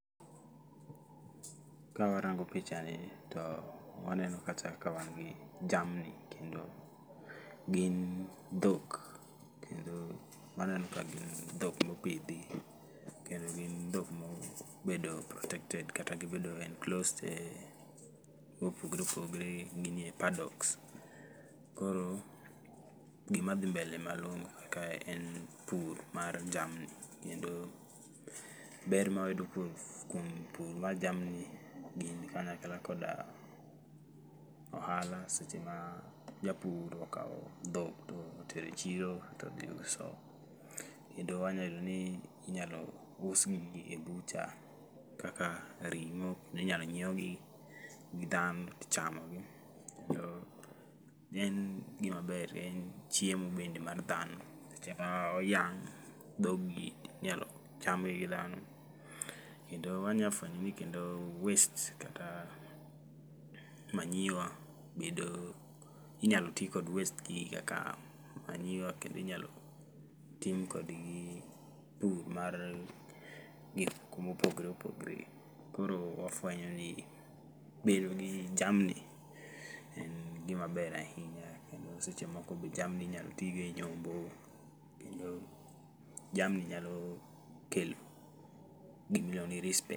ka warango picha ni to waneno kacha ka wan gi jamni, kendo gin dhok. Kendo waneno ka gin dhok mopidhi kendo gin dhok mo bedo protected kata gibedo enclosed e mopogre opogre ginie paddocks. Koro gima dhi mbele malong'o kae en pur mar jamni, kendo ber ma wayudo kuom pur mar jamni gin kanyakla koda ohala seche ma japur okawo dhok to otere chiro to dhi uso. Kendo wanya yudo ni inyalo us gi e bucha kaka ring'o kendinyalo nyiewgi gi dhano tichamo gi. Omiyo en gima ber, en chiemo bende mar dhano. Seche ma oyang' dhogi inyalo chamgi gi dhano, kendo wanya fwenyo ni kendo waste kata manyiwa bedo inyalo ti kod waste gi kaka manyiwa. kendo inyalo tim kodgi pur mar gik mopogre opogre. Koro wafwenyo ni bedo gi jamni en gima ber ahinya, kendo seche moko be jamni inyalo tigo e nyombo. Kendo jamni nyalo kelo gimiliuongo ni rispe.